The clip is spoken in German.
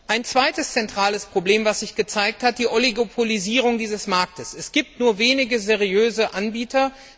Ein zweites zentrales Problem, das sich gezeigt hat, ist die Oligopolisierung dieses Marktes. Es gibt nur wenige seriöse Anbieter.